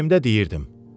Ürəyimdə deyirdim.